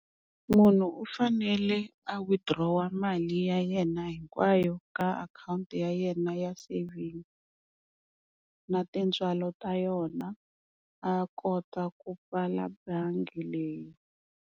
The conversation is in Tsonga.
Munhu u fanele a withdraw-a mali ya yena hinkwayo ka akhawunti ya yena ya savings na tintswalo ta yona a kota ku pfala bangi leyi.